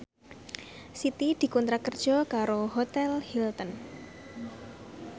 Siti dikontrak kerja karo Hotel Hilton